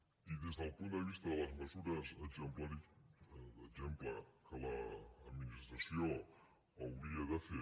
i des del punt de vista de les mesures d’exemple que l’administració hauria de fer